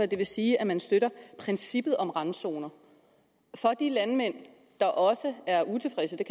det vil sige at man støtter princippet om randzoner for de landmænd der også er utilfredse